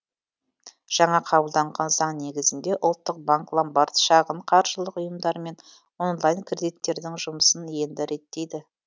жаңа қабылданған заң негізінде ұлттық банк ломбард шағын қаржылық ұйымдар мен онлайн кредиттердің жұмысын енді реттейді